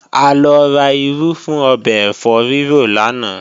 A lọ ra irú fún ọbẹ̀ ẹ̀fọ́ rírò lánàá